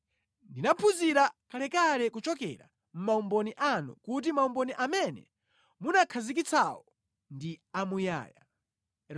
Ndinaphunzira kalekale kuchokera mʼmaumboni anu kuti maumboni amene munakhazikitsawo ndi amuyaya.